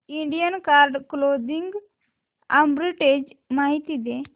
Indian card clothing arbitrage माहिती दे